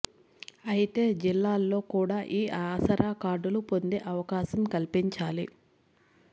అయితే జిల్లాల్లో కూడా ఈ ఆసరా కార్డులు పొందే అవకాశం కల్పించాలి